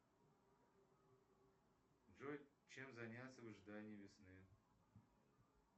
джой чем заняться в ожидании весны